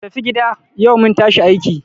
Ku tafi gida! yau mun tashi a aiki.